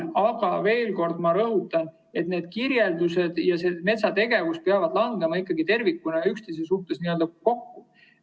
Ma veel kord rõhutan, et need kirjeldused ja see metsategevus peavad ikkagi tervikuna üksteisega n‑ö kokku langema.